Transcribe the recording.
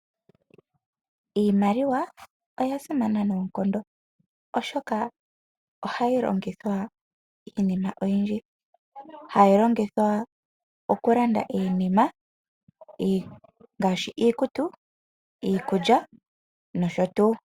Iimaliwa oya simana noonkondo ,oshoka ohayi longithwa iinima oyindji. Ohayi longithwa oku landa ngaashi iikutu, iikulya nosho tu.